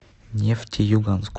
нефтеюганску